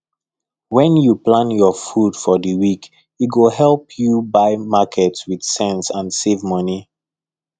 when you plan your food for the week e go help you buy market with sense and save money